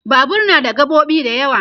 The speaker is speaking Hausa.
Babur na da gaɓoɓi da yawa